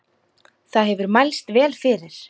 Það hefur mælst vel fyrir.